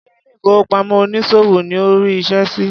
Ṣé ilé ìfowópamọ́ onísòwò ni o rí iṣẹ́ sí?